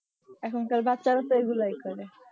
এখন কার বাচ্ছারা তো এই গুলাই করি